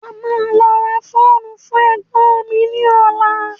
À má lọ rà fóònù fún ẹ̀gbọn mi ní ola